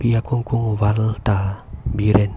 akung kung war ta bi ren.